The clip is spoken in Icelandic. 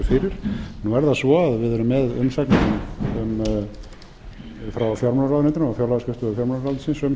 fyrir nú er það svo að við erum með umsagnir frá fjármálaráðuneytinu og fjárlagaskrifstofu fjármálaráðuneytisins um